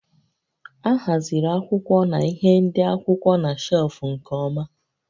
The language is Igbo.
A haziri akwụkwọ na ihé ndị akwụkwọ na shelfụ́ nke ọma